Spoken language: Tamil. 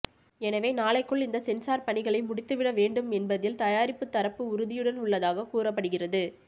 எனவே நாளைக்குள் இந்த சென்சார் பணிகளை முடித்துவிட வேண்டும் என்பதில் தயாரிப்பு தரப்பு உறுதியுடன் உள்ளதாக கூறப்படுகிறது